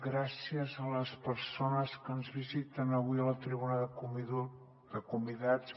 gràcies a les persones que ens visiten avui a la tribuna de convidats